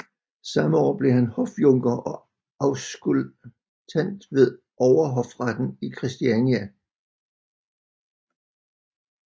Samme år blev han hofjunker og auskultant ved Overhofretten i Christiania